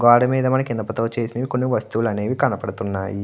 గోడ మీద మనకి ఇనప చేసే కొన్ని వస్తువులు అనేవి కనబడుతున్నాయి.